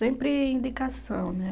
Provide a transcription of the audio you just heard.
Sempre indicação, né?